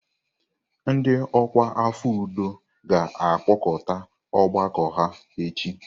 Ndị ọkwa afọ udo ga-akpọkọta ọgbakọ ha echi.